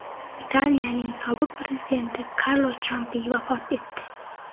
Italiyaning sobiq prezidenti Karlo Champi vafot etdi.